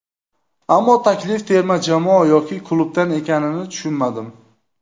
Ammo taklif terma jamoa yoki klubdan ekanini tushunmadim.